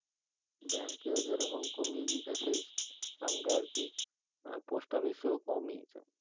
bank এও যেই রকম কমিয়ে দিয়েছে সেই সঙ্গে আর কি post office এও কমিয়েছে